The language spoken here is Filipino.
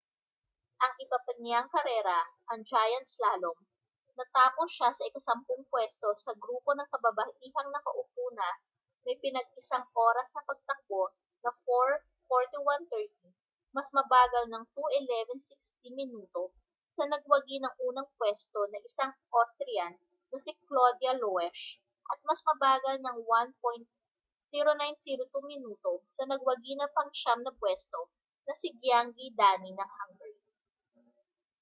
ang iba pa niyang karera ang giant slalom natapos siya sa ika-sampung puwesto sa grupo ng kababaihang nakaupo na may pinag-isang oras ng pagtakbo na 4:41.30 mas mabagal ng 2:11.60 minuto sa nagwagi ng unang puwesto na isang austrian na si claudia loesch at mas mabagal ng 1:09.02 minuto sa nagwagi ng pang-siyam na puwesto na si gyã¶ngyi dani ng hungary